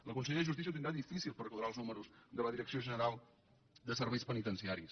la consellera de justícia ho tindrà difícil per quadrar els números de la direcció general de serveis penitenciaris